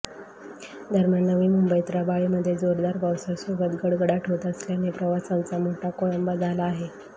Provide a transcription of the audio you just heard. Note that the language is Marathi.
दरम्यान नवी मुंबईत रबाळे मध्ये जोरदार पावसासोबत गडगडाट होत असल्याने प्रवासांचा मोठा खोळंबा झाला आहे